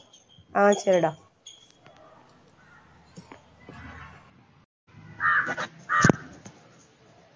ஆஹ் சரிடா